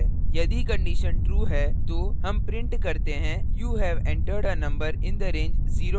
यदि condition true है तो हम print करते हैं you have entered a number in the range of 09